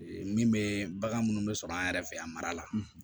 min bɛ bagan minnu bɛ sɔrɔ an yɛrɛ fɛ yan a mara la